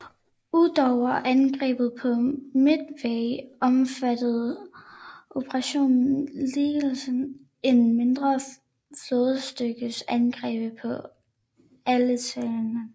Udover angrebet på Midway omfattede operationen ligeledes en mindre flådestyrkes angreb på Aleuterne